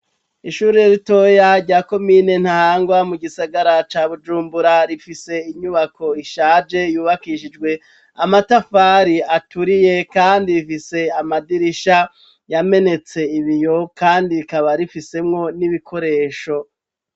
Ishure ritoya rya komine Ntahangwa, mu gisagara ca Bujumbura, rifise inyubako ishaje, yubakishijwe amatafari aturiye kandi rifise amadirisha yamenetse ibiyo kandi rikaba rifisemwo n'ibikoresho.